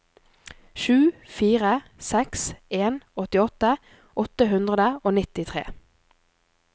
sju fire seks en åttiåtte åtte hundre og nittitre